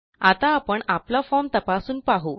आता आपण आपला फॉर्म तपासून पाहू